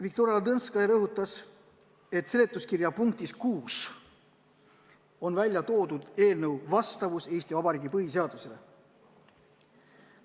Viktoria Ladõnskaja rõhutas, et seletuskirja punktis 6 on välja toodud eelnõu vastavus Eesti Vabariigi põhiseadusele.